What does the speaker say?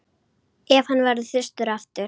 Ef hann verður þyrstur aftur.